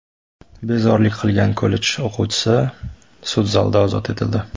Bezorilik qilgan kollej o‘quvchisi sud zalida ozod etildi.